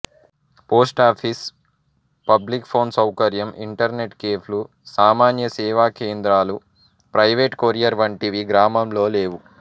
post office public phone సౌకర్యం internet కెఫెలు సామాన్య సేవా కేంద్రాలు ప్రైవేటు కొరియర్ వంటివి గ్రామంలో లేవు